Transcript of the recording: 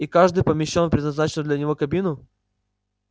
и каждый помещён в предназначенную для него кабину